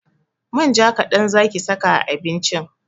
Manja kaɗan zaki saka a abincin!